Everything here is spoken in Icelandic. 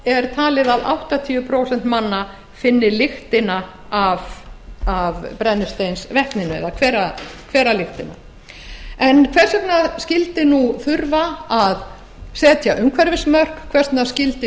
er talið að áttatíu prósent manna finni lyktina af brennisteinsvetninu það er hveralyktina hvers vegna skyldi þurfa að setja umhverfismörk hvers vegna skyldi